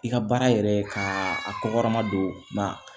I ka baara yɛrɛ ka a kɔkɔma don